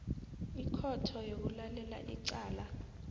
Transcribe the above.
ikhotho eyokulalela icala